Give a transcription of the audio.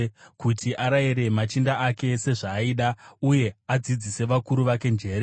kuti arayire machinda ake sezvaaida uye adzidzise vakuru vake njere.